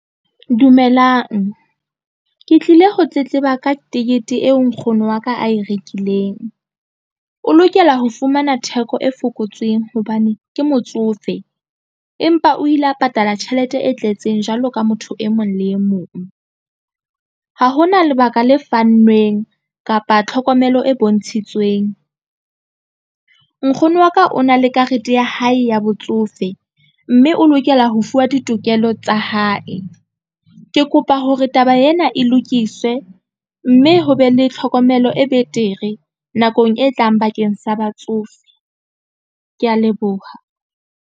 Dumelang ke tlile ho tletleba ka tekete eo nkgono wa ka a e rekileng. O lokela ho fumana theko e fokotsweng hobane ke motsofe, empa o ile a patala tjhelete e tletseng jwalo ka motho e mong le e mong. Ha hona lebaka le fanweng kapa tlhokomelo e bontshitsweng. Nkgono wa ka o na le karete ya hae ya botsofe mme o lokela ho fuwa ditokelo tsa hae. Ke kopa hore taba ena e lokiswe, mme ho be le tlhokomelo e betere nakong e tlang bakeng sa batsofe. Ke ya leboha.